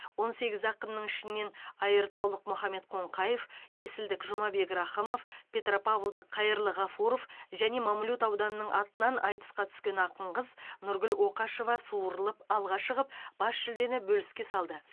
он сегіз ақынның ішінен айыртаулық мұхаммед қоңқаев есілдік жұмабек рақымов петропавлдық қайырлы ғафуров және мамлют ауданының атынан айтысқа түскен ақын қыз нұргүл оқашева суырылып алға шығып бас жүлдені бөліске салды